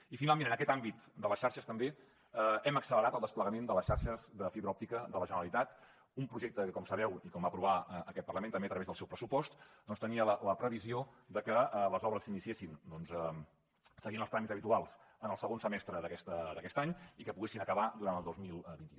i finalment en aquest àmbit de les xarxes també hem accelerat el desplegament de les xarxes de fibra òptica de la generalitat un projecte que com sabeu i com va aprovar aquest parlament també a través del seu pressupost doncs tenia la previsió de que les obres s’iniciessin doncs seguint els tràmits habituals en el segon semestre d’aquest any i que poguessin acabar durant el dos mil vint u